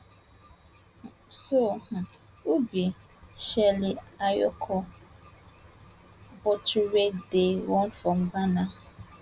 so um who be shirley ayokor botchwey wey dey run from ghana